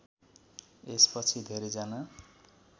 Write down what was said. यसपछि धेरैजना